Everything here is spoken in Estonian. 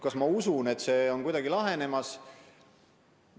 Kas ma usun, et see on kuidagi lahenemas?